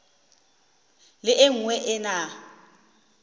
le e nngwe e na